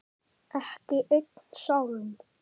Ekki einn sálm.